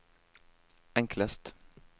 enklest